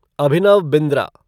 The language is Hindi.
अभिनव बिंद्रा